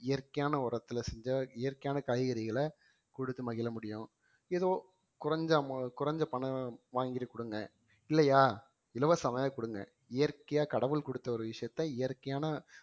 இயற்கையான உரத்துல செஞ்ச இயற்கையான காய்கறிகளை குடுத்து மகிழ முடியும் ஏதோ குறைஞ்ச amou~ குறைஞ்ச பணம் வாங்கிட்டு குடுங்க இல்லையா இலவசமாகவே கொடுங்க இயற்கையா கடவுள் கொடுத்த ஒரு விஷயத்த இயற்கையான